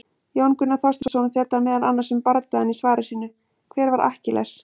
Jón Gunnar Þorsteinsson fjallar meðal annars um bardagann í svari sínu, Hver var Akkiles?